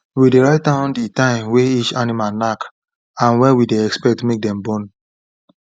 we dey write down the time way each animal knack and when we dey expect make dem born